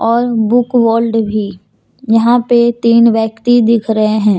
और book world भी यहां पे तीन व्यक्ति दिख रहे हैं।